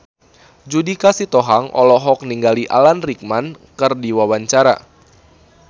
Judika Sitohang olohok ningali Alan Rickman keur diwawancara